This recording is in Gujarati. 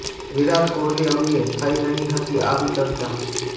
વિરાટ કોહલી અંગે થઇ રહી હતી આવી ચર્ચા